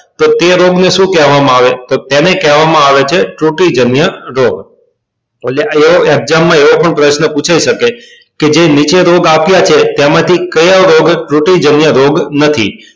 તો તે રોગ ને શું કહેવા માં આવે છે તો તેને કહેવા માં આવે છે તો એ exam માં આવો પણ પ્રશ્ન પુછાય શકે કે જે નીચે રોગ આપ્યા છે તેમાં થી કયો રોગ રોગ નથી